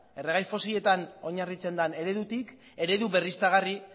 erregai fosiletan oinarritzen den eredutik eredu berriztagarri